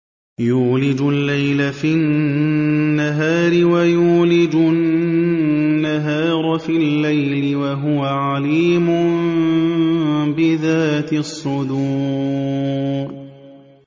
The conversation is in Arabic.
يُولِجُ اللَّيْلَ فِي النَّهَارِ وَيُولِجُ النَّهَارَ فِي اللَّيْلِ ۚ وَهُوَ عَلِيمٌ بِذَاتِ الصُّدُورِ